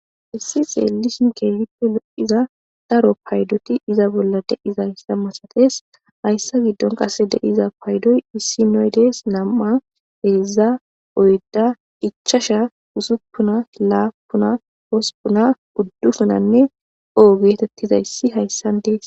issi xeelishin keegippe lo7iza daro paydoti iza bolla deizayssa masates hayssa giddon qasse deiza paydoy issi noydees nam7a heeza oyda ichasha usuppuna laapuna hospuna guddufunanne oo geetettizayssi hayssan dees